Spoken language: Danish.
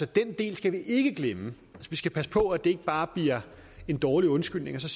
den del skal vi ikke glemme vi skal passe på at det ikke bare bliver en dårlig undskyldning og så